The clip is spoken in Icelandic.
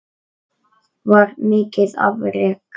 Það var mikið afrek.